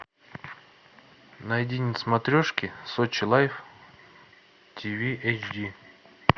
найди на смотрешке сочи лайф тиви эйчди